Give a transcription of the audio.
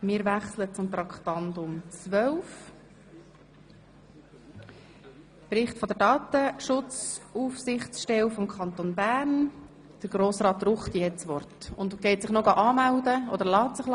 Es folgt Traktandum 12, der Bericht der Datenschutzaufsichtsstelle 2016 des Kantons Bern.